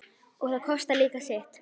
og það kostar líka sitt.